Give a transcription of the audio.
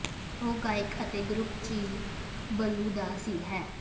ਉਹ ਗਾਇਕ ਅਤੇ ਗਰੁੱਪ ਚੀਨ ਬਲੂ ਦਾ ਸਿਰ ਹੈ